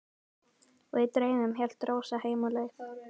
Og í draumnum hélt Rósa heim á leið.